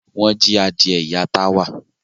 Wọ́n jí adìẹ ìyá Táwà.